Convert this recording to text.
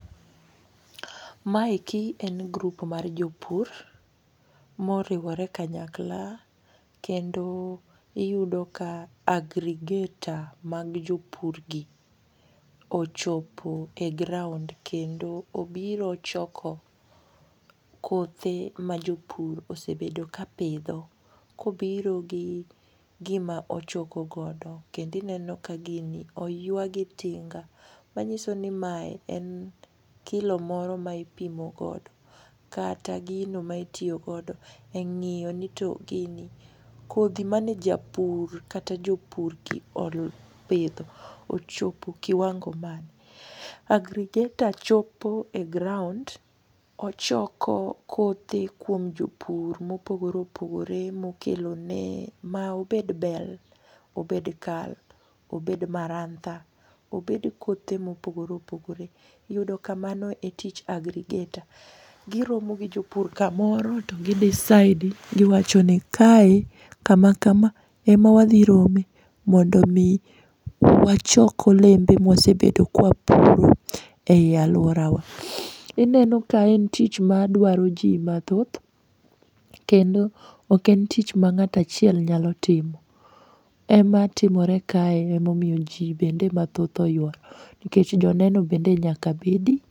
Maeki en group mar jopur moriwore kanyakla, kendo iyudo ka agrigator mag jopur gi ochopo e ground, kendo obiro choko kothe ma jopur osebedo ka pidho. Kobiro gi gima ochoko godo kendo ineno ka gini oywa gi tinga. Manyiso ni mae en kilo moro ma ipimo godo. Kata gino ma itiyo godo e ng'iyo ni to gini kodhi mane japur kata jopur gi opidho ochopo kiwango mane. agrigator chopo e ground, ochoko kothe kuom jopur mopogore opogore mokelone ma obed bel, obed kal, ober marantha, obed kothe ma opogore opogore. Iyudo ka mano e tij agrigator. Giromo gi jopur kamoro to gi decide giwacho ni kae kamakama e ma wadhi rome mondo omi wachok olembe ma wasebedo ka wapuro ei alworawa. Ineno ka en tich madwaro ji mathoth, kendo ok en tich mang'ato achiel nyalo timo. Ema timore kae, ema omiyo ji bende mathoth oyworo. Nikech joneno bende nyaka bedi.